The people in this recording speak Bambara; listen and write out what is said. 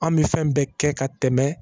An bɛ fɛn bɛɛ kɛ ka tɛmɛ